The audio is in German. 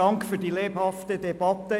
Dank für die lebhafte Debatte.